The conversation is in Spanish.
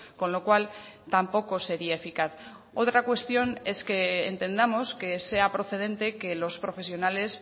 con lo cual tampoco sería eficaz otra cuestión es que entendamos que sea procedente que los profesionales